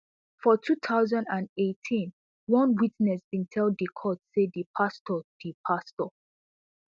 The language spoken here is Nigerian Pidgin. for two thousand and eighteen one witness bin tell di court say di pastor di pastor